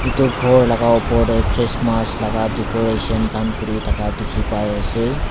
etu kor laka opor dae christmas laka decoration kan kuri taka tiki bai ase.